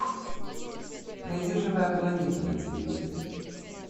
найди живая планета на телевизоре